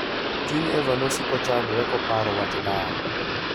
Chuny Eva ne siko chandore koparo wach dar.